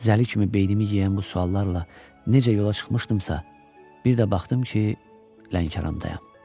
Zəli kimi beynimi yeyən bu suallarla necə yola çıxmışdımsa, bir də baxdım ki, Lənkərandayam.